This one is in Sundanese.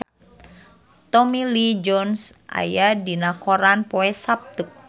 Tommy Lee Jones aya dina koran poe Saptu